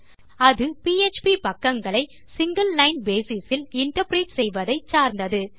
அது பிஎச்பி பக்கங்களை single line basis இல் இன்டர்பிரெட் செய்வதை சார்ந்தது